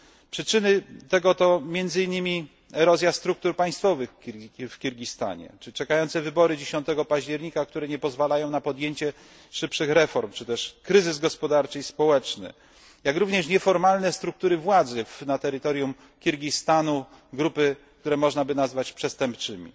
Przyczyny tego to między innymi erozja struktur państwowych w Kirgistanie czy wybory mające się odbyć 10 października, które nie pozwalają na podjęcie szybszych reform, czy też kryzys gospodarczy i społeczny, jak również nieformalne struktury władzy na terytorium Kirgistanu, grupy, które można by nazwać przestępczymi.